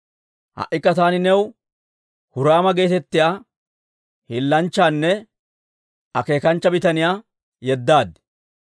«Ha"ikka taani new Huraama geetettiyaa hiillanchchanne akeekanchcha bitaniyaa yeddaad.